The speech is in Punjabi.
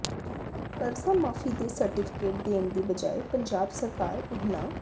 ਕਰਜ਼ਾ ਮਾਫ਼ੀ ਦੇ ਸਰਟੀਫਿਕੇਟ ਦੇਣ ਦੀ ਬਜਾਏ ਪੰਜਾਬ ਸਰਕਾਰ ਉਨ੍ਹਾਂ